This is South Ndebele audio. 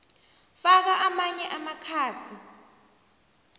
faka amanye amakhasi